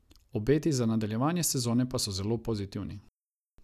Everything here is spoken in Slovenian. Obeti za nadaljevanje sezone pa so zelo pozitivni.